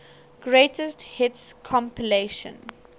greatest hits compilation